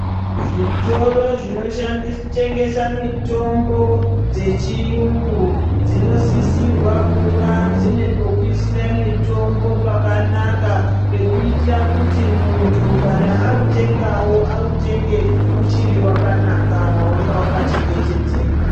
Zvitoro zvinotengeswa mitombo yechiyungu dzinosisirwa kuva dziine pekuisira mitombo pakanaka pekuitira kuti muntu kana awutenga awutenge yamanaka wakanaka wanga wakachengetedzeka.